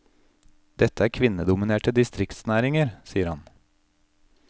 Dette er kvinnedominerte distriktsnæringer, sier han.